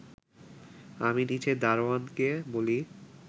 আমি নিচে দারোয়ানকে বলি